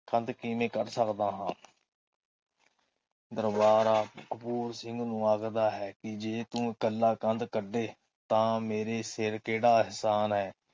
ਕੰਧ ਕਿਵੇਂ ਕਰ ਸਕਦਾ ਹਾਂ। ਦਰਬਾਰਾ ਕਪੂਰ ਸਿੰਘ ਨੂੰ ਆਖਦਾ ਹੈ ਕੇ ਜੇ ਤੂੰ ਇਕੱਲਾ ਕੰਧ ਕੱਢੇ ਤਾ ਮੇਰੇ ਸਿਰ ਕਿਹੜਾ ਅਹਿਸਾਨ ਹੈ ।